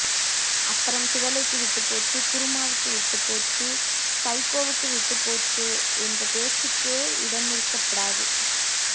அப்பறம் சுடலைக்கு விட்டு போச்சு குருமாவுக்கு விட்டு போச்சு சைக்கோவுக்கு விட்டு போச்சே என்ற பேச்சுக்கே இடமிருக்கப்டாது